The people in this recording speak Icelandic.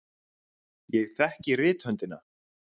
Ég þekkti rithöndina.